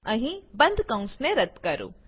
અહીં બંધ કૌંસને રદ્દ કરો